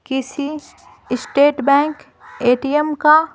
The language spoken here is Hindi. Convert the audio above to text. किसी स्टेट बैंक ए_टी_एम का --